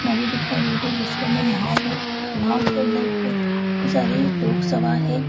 नदी दिखाई दे रही है जिसके अंदर नाव है नाव के अंदर बहुत बहुत सारे लोग सवार हैं।